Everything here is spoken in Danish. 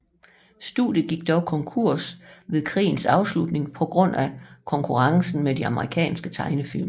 Studiet gik dog konkurs ved krigens afslutning på grund af konkurrencen med de amerikanske tegnefilm